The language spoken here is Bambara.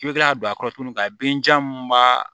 I bɛ kila ka don a kɔrɔ tuguni ka den jan mun b'a